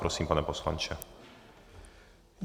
Prosím, pane poslanče.